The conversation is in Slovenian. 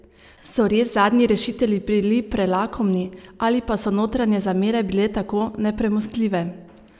So res zadnji rešitelji bili prelakomni ali pa so notranje zamere bile tako nepremostljive?